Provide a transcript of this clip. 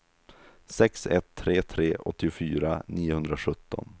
sex ett tre tre åttiofyra niohundrasjutton